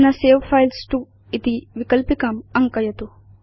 अधुना save files to इति विकल्पिकाम् अङ्कयतु